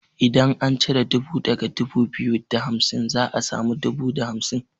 Idan an cire dubu daga dubu biyu da hamsin za a samu dubu da hamsin.